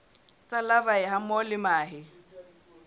tsa larvae hammoho le mahe